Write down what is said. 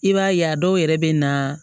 I b'a ye a dɔw yɛrɛ bɛ na